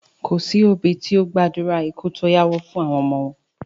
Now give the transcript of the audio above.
Kòsí òbí tí ó gbàdúrà ikú tó yáwọ́ fún àwọn ọmọ wọn